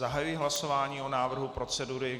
Zahajuji hlasování o návrhu procedury.